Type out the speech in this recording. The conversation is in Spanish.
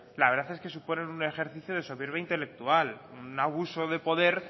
la verdad es que suponen un ejercicio de soberbia intelectual un abuso de poder